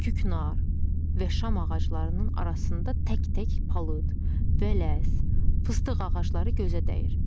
Küknar və şam ağaclarının arasında tək-tək palıd, vələs, fıstıq ağacları gözə dəyir.